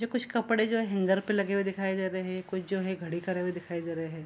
जो कुछ कपड़े जो हैं हेंगर पे लगे हुए दिखाई दे रहे हैं कुछ जो है खड़ी करे हुए दिखाई दे रहे हैं।